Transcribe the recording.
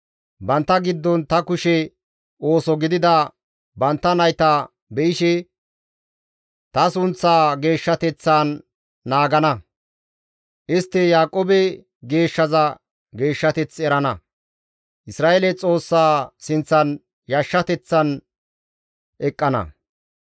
Bantta giddon ta kushe ooso gidida bantta nayta be7ishe ta sunththaa geeshshateththan naagana; istti Yaaqoobe Geeshshaza geeshshateth erana; Isra7eele Xoossaa sinththan yashshateththan eqqana.